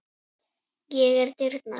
Ég er dyrnar.